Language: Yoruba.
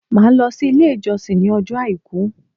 Màá lo sí Ilé ìjọsìn ní ọjọ́ Àìkú